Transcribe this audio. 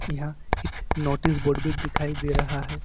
यहां एक notice board भी दिखाई दे रहा है।